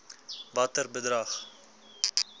watter bedrag